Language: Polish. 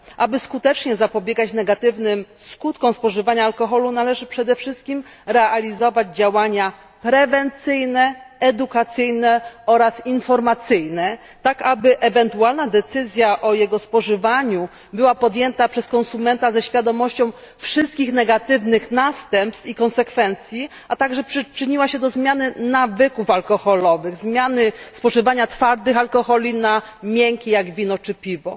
Aby skutecznie zapobiegać negatywnym skutkom spożywania alkoholu, należy przede wszystkim realizować działania prewencyjne, edukacyjne oraz informacyjne, tak aby ewentualna decyzja o jego spożywaniu była podjęta przez konsumenta ze świadomością wszystkich negatywnych następstw i konsekwencji, a także przyczyniła się do zmiany nawyków alkoholowych, zamiany spożywanych twardych alkoholi na miękkie, jak wino czy piwo.